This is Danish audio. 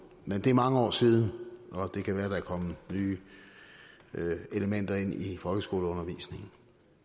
men det er mange år siden og det kan være der er kommet nye elementer ind i folkeskoleundervisningen